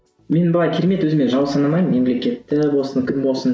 мен былай керемет өзіме жау санамаймын мемлекетті болсын кім болсын